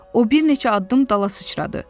O bir neçə addım dala sıçradı.